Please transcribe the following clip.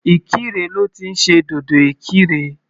Ìkirè lọ́ ti ń ṣe dòdò Ìkirè.